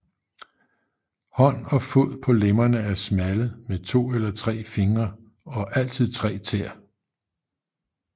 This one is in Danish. Hånd og fod på lemmerne er smalle med to eller tre fingre og altid tre tæer